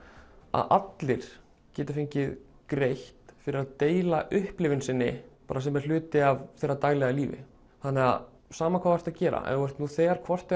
að allir geti fengið greitt fyrir að deila upplifun sinni bara sem er hluti af þeirra daglega lífi þannig sama hvað þú ert að gera ef þú ert nú þegar hvort